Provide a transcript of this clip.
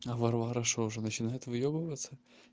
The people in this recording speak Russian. а варвара что уже начинает выебываться